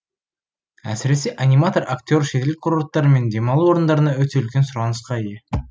әсіресе аниматор актер шетел курорттары мен демалу орындарында өте үлкен сұранысқа ие